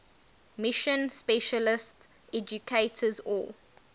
mission specialist educators or